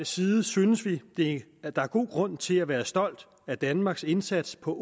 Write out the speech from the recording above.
side synes vi vi at der er god grund til at være stolt af danmarks indsats på